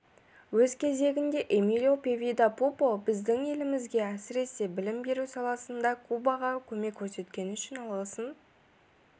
өз кезегінде эмилио певида пупо біздің елімізге әсіресе білім беру саласында кубаға көмек көрсеткені үшін алғысын